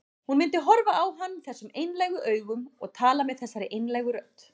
Hún myndi horfa á hann þessum einlægu augum og tala með þessari einlægu rödd.